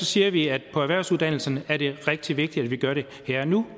siger vi at på erhvervsuddannelserne er det rigtig vigtigt at vi gør det her og nu